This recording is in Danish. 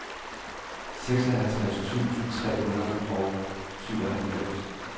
seksoghalvfjerds tusind tre hundrede og syvoghalvfems